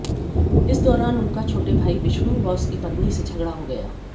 इस दौरान उनका छोटे भाई विष्णु व उसकी पत्नी से झगड़ा हो गया